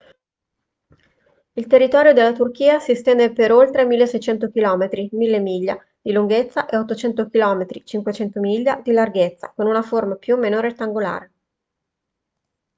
il territorio della turchia si estende per oltre 1.600 km 1.000 miglia di lunghezza e 800 km 500 miglia di larghezza con una forma più o meno rettangolare